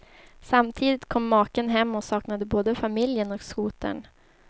Samtidigt kom maken hem och saknade både familjen och skotern.